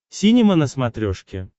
синема на смотрешке